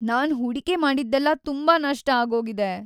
ನಾನ್ ಹೂಡಿಕೆ ಮಾಡಿದ್ದೆಲ್ಲ ತುಂಬಾ ನಷ್ಟ ಆಗೋಗಿದೆ.